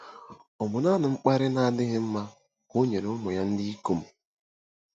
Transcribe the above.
Ọ bụ naanị mkparị na-adịghị mma ka o nyere ụmụ ya ndị ikom.